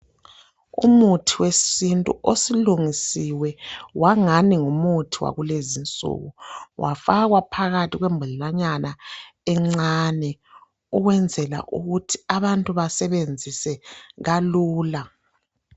Umuthi wesintu osulungisiwe wangani ngumuthi wakulezinsuku wafakwa phakathi kwembodlela nyana encane ukwenzela ukuthi abantu besebenzise kalula